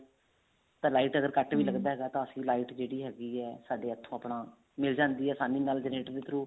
ਤਾਂ light ਵੀ ਲੱਗਦਾ ਹੈਗਾ ਤਾਂ ਅਸੀਂ light ਜਿਹੜੀ ਹੈਗੀ ਹੈ ਸਾਡੇ ਇੱਥੋਂ ਆਪਣਾ ਮਿਲ ਜਾਂਦੀ ਹੈ ਆਸਾਨੀ ਨਾਲ generator ਦੇ through